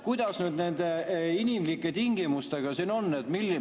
Kuidas nüüd nende inimlike tingimustega siin on?